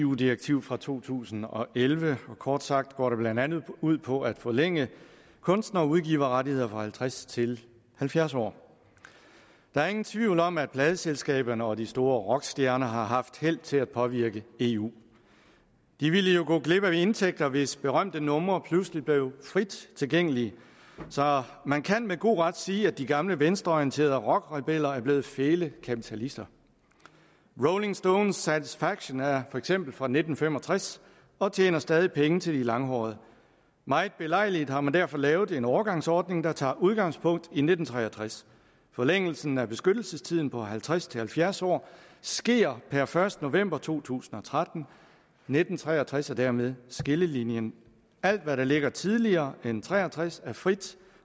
eu direktiv fra to tusind og elleve og kort sagt går det blandt andet ud på at forlænge kunstnerudgiverrettigheder fra halvtreds til halvfjerds år der er ingen tvivl om at pladeselskaberne og de store rockstjerner har haft held til at påvirke eu de ville jo gå glip af indtægter hvis berømte numre pludselig blev frit tilgængelige så man kan med god ret sige at de gamle venstreorienterede rockrebeller er blevet fæle kapitalister rolling stones satisfaction er for eksempel fra nitten fem og tres og tjener stadig penge til de langhårede meget belejligt har man derfor lavet en overgangsordning der tager udgangspunkt i nitten tre og tres forlængelsen af beskyttelsestiden på halvtreds til halvfjerds år sker per første november to tusind og tretten nitten tre og tres er dermed skillelinjen alt hvad der ligger tidligere end nitten tre og tres er frit